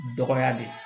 Dɔgɔya de